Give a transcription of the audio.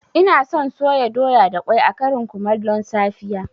Ina son soya doya da ƙwai a ƙarin kumallon safiya